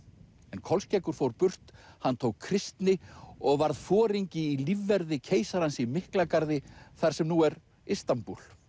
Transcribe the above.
en Kolskeggur fór burt hann tók kristni og varð foringi í lífverði keisarans í Miklagarði þar sem nú er Istanbúl